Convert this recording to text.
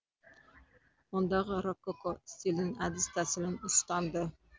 ондағы рококко стилінің әдіс тәсілін ұстанды